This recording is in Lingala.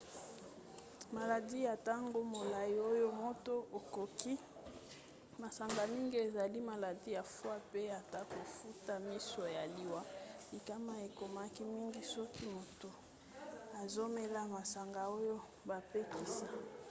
maladi ya ntango molai oyo moto akoki kobela soki azomela masanga mingi ezali maladi ya foie pe ata kofuta miso pe liwa. likama ekomaki mingi soki moto azomela masanga oyo bapekisa